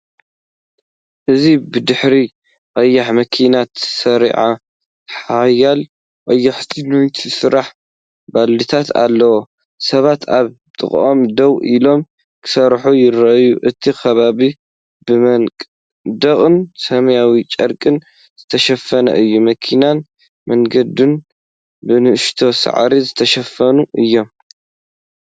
እዚ ብድሕሪ ቀያሕ መኪና ተሰሪዖም ሓያሎ ቀያሕቲ ናይ ስራሕ ቦልድታት ኣለዉ፤ ሰባት ኣብ ጥቓኦም ደው ኢሎም፡ ክሰርሑ ይረኣዩ። እቲ ከባቢ ብመንደቕን ሰማያዊ ጨርቅን ዝተሸፈነ እዩ። መኪናን መንገድን ብንእሽቶ ሳዕሪ ዝተሸፈነ እዩ።